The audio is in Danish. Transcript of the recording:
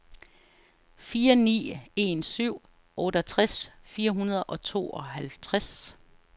fire ni en syv otteogtres fire hundrede og tooghalvtreds